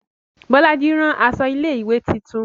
Bolaji rán aṣọ ilé ìwé titun